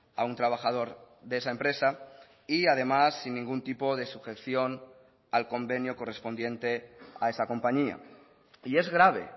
a un trabajador de esa empresa y además sin ningún tipo de sujeción al convenio correspondiente a esa compañía y es grave